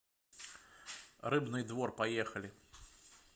рыбный двор поехали